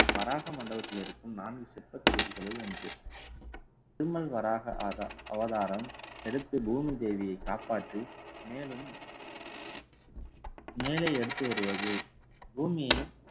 வராக மண்டபத்தில் இருக்கும் நான்கு சிற்ப தொகுதிகளில் ஒன்று. திருமல் வராக அதா~ அவதாரம் எடுத்து பூமி தேவியை காப்பாற்றி மேலும் மேலே எடுத்து வருவது பூமியை